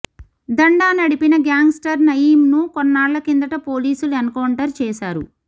దందా నడిపిన గ్యాంగ్స్టర్ నయీంను కొన్నాళ్ల కిందట పోలీసులు ఎన్కౌంటర్ చేశారు